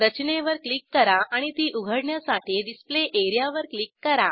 रचनेवर क्लिक करा आणि ती उघडण्यासाठी डिस्प्ले एरियावर क्लिक करा